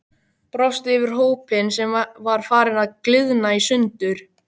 Brosti yfir hópinn sem var farinn að gliðna í sundur.